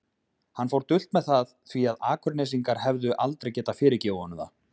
Hann fór dult með það því að Akurnesingar hefðu aldrei getað fyrirgefið honum það.